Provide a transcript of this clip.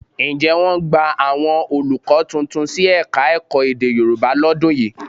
Ǹjẹ́ wọ́n gbà àwọn olùkọ́ tuntun sí Ẹ̀ka-ẹ̀kọ́ èdè Yorùbá lọ́dún yìí?